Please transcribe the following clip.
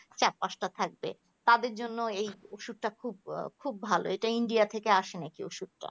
আর চার পাঁচটা থাকবে তাদের জন্য এই ওষুধটা খুব ভালো এটা ইন্ডিয়া থেকে আসে নাকি ওষুধটা